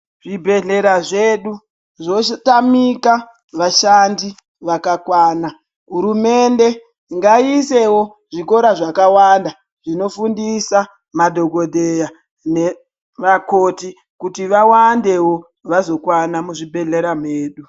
Zvibhedhlera zvedu zvotamika vashandi vakakwana hurumende nagiisewo zvikora zvakawanda zvinofundisa madhokodheya nemakoti kuti vawande vazokwana muzvibhedhlera mwedu.